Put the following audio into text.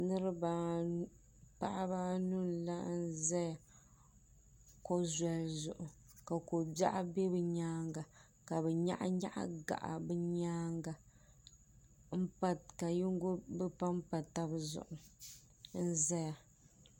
Paɣaba anu n laɣim zaya ko zoli zuɣu ka kobiaɣu be bɛ nyaanga ka bɛ nyaɣi nyaɣi gaɣa bɛ nyaanga ka bɛ panpa taba zuɣu n zaya.